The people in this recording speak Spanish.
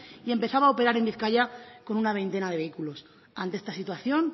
y empezaba a operar en bizkaia con una veintena de vehículos ante esta situación